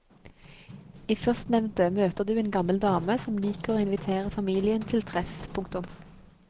I førstnevnte møter du en gammel dame som liker å invitere familien til treff. punktum